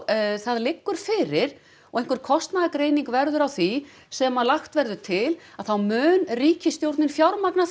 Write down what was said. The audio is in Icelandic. það liggur fyrir og einhver kostnaðargreining verður á því sem að lagt verður til að þá mun ríkisstjórnin fjármagna